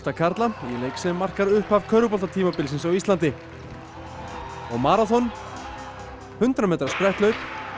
karla í leik sem markar upphafi körfuboltatímabilsins á Íslandi og maraþon hundrað metra spretthlaup